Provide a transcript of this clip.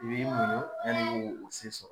I b'i muɲu yani k'o se sɔrɔ.